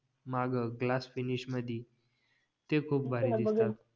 माघ glass finish मध्ये ते खूप भारी आहे